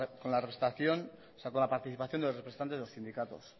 con la participación de los representantes de los sindicatos